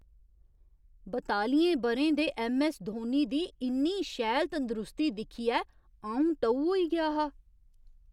बतालियें ब'रें दे ऐम्म.ऐस्स. धोनी दी इन्नी शैल तंदरुस्ती दिक्खियै अ'ऊं टऊ होई गेआ हा।